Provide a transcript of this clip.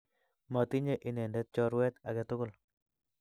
Matinye inendet chorwet age tugul.